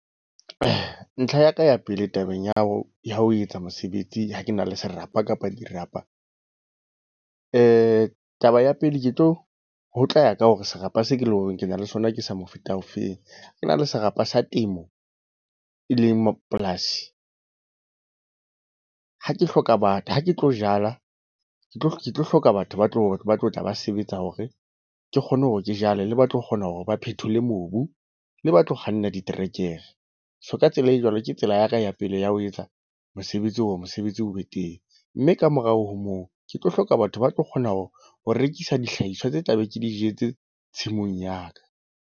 Ntlha ya ka ya pele tabeng ya ho ya ho etsa mosebetsi ha ke na le serapa kapa dirapa. Taba ya pele ke tlo, ho tla ya ka hore serapa se ke le hore ke na le sona ke sa mofuta ofeng. Ho na le serapa sa temo, e leng polasi. Ha ke hloka batho ha ke tlo jala, ke tlo hloka batho ba tlo batho ba tlo tla ba sebetsa. Hore ke kgone hore ke jwale, le ba tlo kgona hore ba phethola mobu, le ba tlo kganna diterekere. So ka tsela e jwalo, ke tsela ya ka ya pele ya ho etsa mosebetsi hore mosebetsi o be teng. Mme kamorao ho moo ke tlo hloka batho ba tlo kgona ho rekisa dihlahiswa tse tla beng ke di jetse tshimong ya ka.